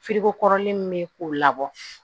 kɔrɔlen min bɛ k'u labɔ